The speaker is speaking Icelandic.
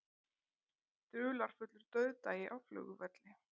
Dularfullur dauðdagi á flugvelli